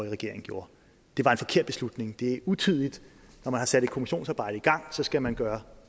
regering gjorde det var en forkert beslutning det er utidigt når man har sat et kommissionsarbejde gang skal man gøre